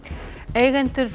eigendur